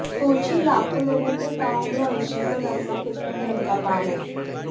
सोचिये लाखों लोगों को ताउम्र अनशन पर रखना कितना धर्म का काम है